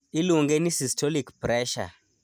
iluonge ni systolic pressure